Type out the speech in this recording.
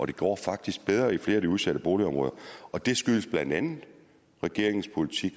det går faktisk bedre i flere af de udsatte boligområder og det skyldes blandt andet regeringens politik